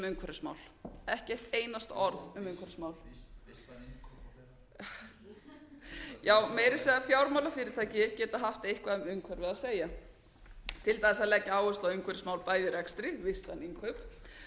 umhverfismál ekki eitt einasta orð já meira að segja fjármálafyrirtæki geta haft eitthvað um umhverfi að segja til dæmis að leggja áherslu á umhverfismál bæði í rekstri innkaup og